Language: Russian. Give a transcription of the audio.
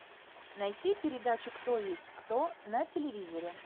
найти передачу кто есть кто на телевизоре